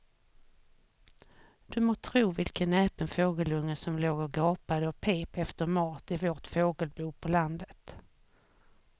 Du må tro vilken näpen fågelunge som låg och gapade och pep efter mat i vårt fågelbo på landet.